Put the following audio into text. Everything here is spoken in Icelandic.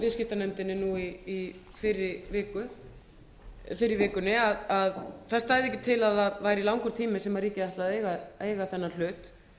viðskiptanefndinni fyrr í vikunni að það stæði ekki til að það væri langur tími sem ríkið ætlaði að eiga þennan hlut